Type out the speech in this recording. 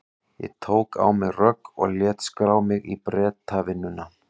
Ég tók á mig rögg og lét skrá mig í Bretavinnuna.